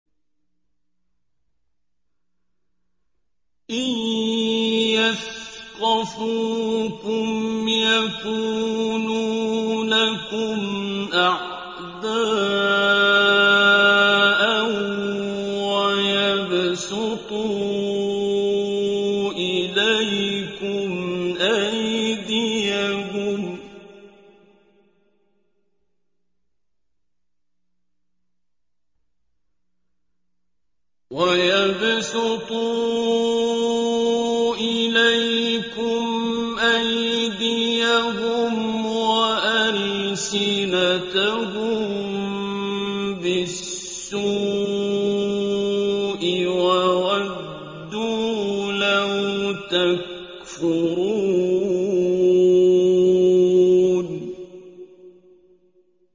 إِن يَثْقَفُوكُمْ يَكُونُوا لَكُمْ أَعْدَاءً وَيَبْسُطُوا إِلَيْكُمْ أَيْدِيَهُمْ وَأَلْسِنَتَهُم بِالسُّوءِ وَوَدُّوا لَوْ تَكْفُرُونَ